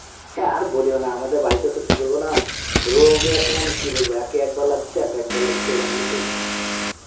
হ্যাঁ আর বলীয় না আমাদের বারিতেসে কি বলব না রোগে এখন কি বলব একে একবার লাগছে, একে একবার লাগছে এরম করে চলছে .